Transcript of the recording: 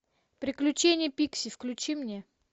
приключения пикси включи мне